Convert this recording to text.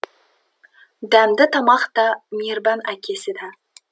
дәмді тамақ та мейірбан әкесі да